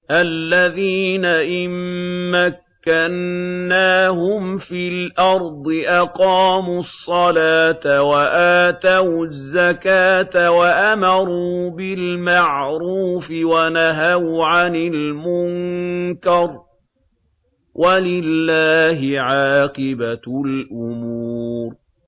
الَّذِينَ إِن مَّكَّنَّاهُمْ فِي الْأَرْضِ أَقَامُوا الصَّلَاةَ وَآتَوُا الزَّكَاةَ وَأَمَرُوا بِالْمَعْرُوفِ وَنَهَوْا عَنِ الْمُنكَرِ ۗ وَلِلَّهِ عَاقِبَةُ الْأُمُورِ